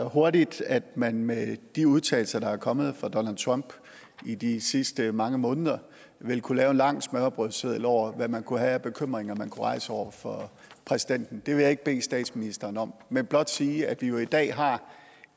hurtigt at man med de udtalelser der er kommet fra donald trump i de seneste mange måneder vil kunne lave en lang smørrebrødsseddel over hvad man kunne have af bekymringer man kunne rejse over for præsidenten det vil jeg ikke bede statsministeren om men blot sige at vi i dag har